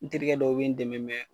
N terikɛ dɔw bɛ n dɛmɛ mɛ